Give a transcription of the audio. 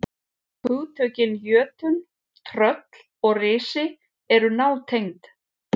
Hugtökin jötunn, tröll og risi eru nátengd.